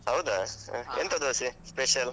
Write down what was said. ಹೌದಾ ಅಹ್ ಎಂತ ದೋಸೆ special ?